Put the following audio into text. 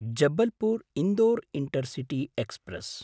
Jabalpur Indore intercity express